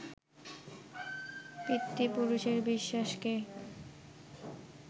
পিতৃপুরুষের বিশ্বাসকে